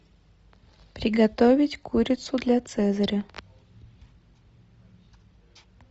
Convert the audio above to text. приготовить курицу для цезаря